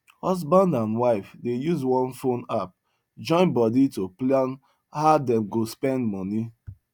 husband and wife dey use one phone app join body to plan how dem go spend money